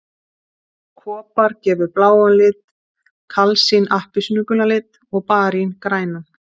Kopar gefur bláan lit, kalsín appelsínugulan lit og barín grænan.